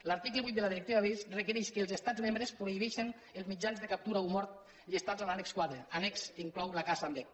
l’article vuit de la directiva birds requereix que els estats membres prohibeixin els mitjans de captura o mort llistats en l’annex quatre annex que inclou la caça amb vesc